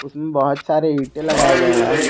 उसमें बहुत सारे ईंटें लगाए गए हैं।